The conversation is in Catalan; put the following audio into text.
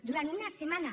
durant una setmana